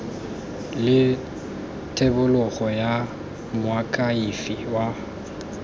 le thebolo ya moakhaefe wa